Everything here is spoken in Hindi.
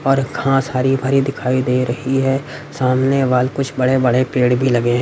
और घास हरी भरी दिखाई दे रही है सामने वाल कुछ बड़े-बड़े पेड़ भी लगे हैं।